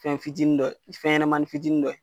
Fɛn fitinin do fɛnɲɛmanin fitinin do ye.